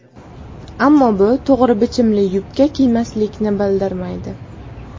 Ammo bu to‘g‘ri bichimli yubka kiymaslikni bildirmaydi.